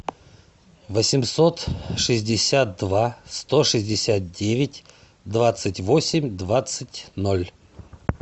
восемьсот шестьдесят два сто шестьдесят девять двадцать восемь двадцать ноль